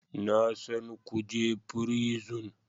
Na san kuje prison